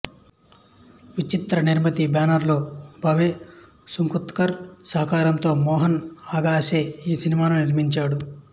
విచిత్ర నిర్మతి బ్యానరులో భావేసుఖ్తంకర్ సహకారంతో మోహన్ అగాషే ఈ సినిమాను నిర్మించాడు